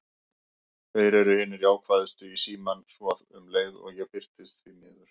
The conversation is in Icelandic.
Þeir eru hinir jákvæðustu í símann, svo um leið og ég birtist: því miður.